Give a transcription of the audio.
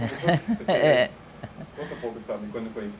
Conta para quando foi isso.